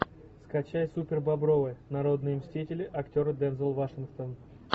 скачай супербобровы народные мстители актер дензел вашингтон